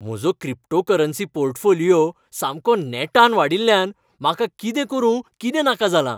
म्हजो cryptocurrency portfolio सामको नेटान वाडिल्ल्यान म्हाका कितें करूं कितें नाका जालां!